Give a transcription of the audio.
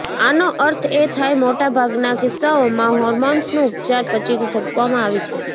આનો અર્થ એ થાય મોટા ભાગના કિસ્સાઓમાં હોર્મોન્સનું ઉપચાર પછી સોંપવામાં આવી છે